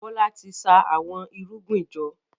Bola tí ṣa Àwọn irúgbìn jọ.